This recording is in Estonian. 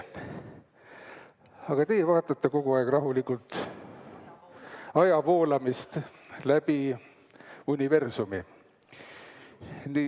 Aga teie vaatate kogu aeg rahulikult aja voolamist läbi universumi.